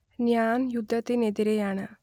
ഞാൻ യുദ്ധത്തിനെതിരെയാണ്